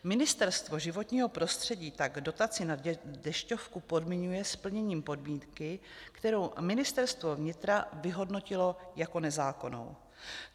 Ministerstvo životního prostředí tak dotaci na dešťovku podmiňuje splněním podmínky, kterou Ministerstvo vnitra vyhodnotilo jako nezákonnou.